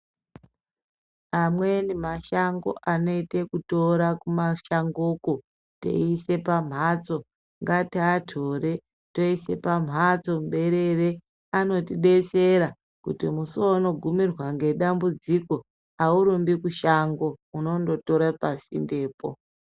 Amweni mashango anoita kutora kumashangoko teisa pambatso ngatitore teisa pambatso muberere. Anotidetsera kuti musi waunogimirwa nedambudziko haurimbi kushango unongotora pasinde apo.